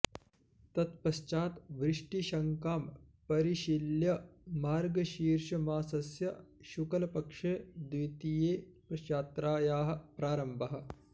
तत्पश्चात् वृष्टिशङ्कां परिशील्य मार्गशीर्षमासस्य शुक्लपक्षे द्वितीये यात्रायाः प्रारम्भः